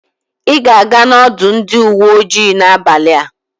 Ị ga-aga n'ọdụ ndị uwe ojii n'abalị a.